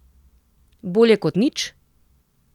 Bolje kot nič?